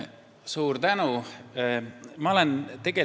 Suur tänu!